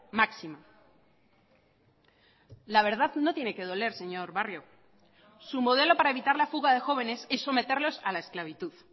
máxima la verdad no tiene que doler señor barrio su modelo para evitar la fuga de jóvenes es someterlos a la esclavitud